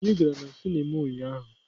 Anyị gara na sinima ụnyahụ.